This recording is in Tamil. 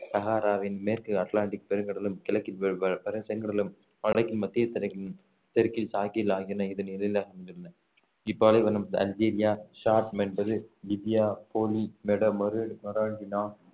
சகாராவின் மேற்கு அட்லாண்டிக் பெருங்கடலும் கிழக்கில் செங்கடலும் வடக்கில் மத்திய தெற்கில் சாஹில் ஆகியன இதன் எல்லைகளாக அமைந்துள்ளன இப்பாலைவனம் அல்ஜீரியா சாட் லிபியா